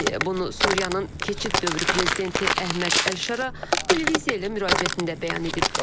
Bunu Suriyanın keçid dövrü prezidenti Əhməd Əlşara televiziya ilə müraciətində bəyan edib.